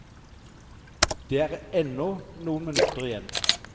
Det er ennå noen minutter igjen.